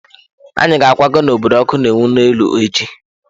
Anyị ga-akwaga n'obodo ọkụ na-enwu n'elu echi.